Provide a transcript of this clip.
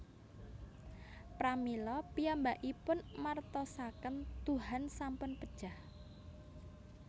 Pramila piyambakipun martosaken Tuhan sampun pejah